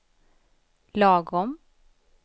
lagom